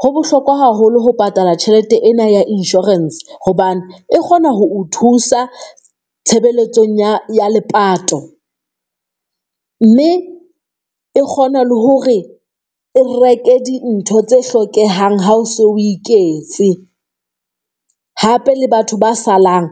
Ho bohlokwa haholo ho patala tjhelete ena ya insurance, hobane e kgona ho o thusa tshebeletsong ya ya lepato mme e kgona le hore e reke dintho tse hlokehang, ha o so o iketse hape le batho ba salang